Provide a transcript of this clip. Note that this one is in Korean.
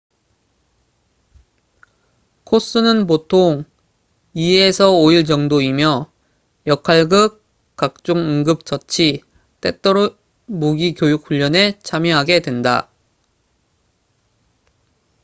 코스는 보통 2-5일 정도이며 역할극 각종 응급 처치 때때로 무기 교육훈련에 참여하게 된다